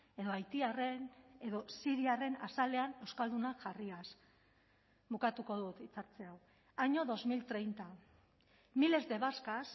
edo haitiarren edo siriarren azalean euskaldunak jarriaz bukatuko dut hitz hartze hau año dos mil treinta miles de vascas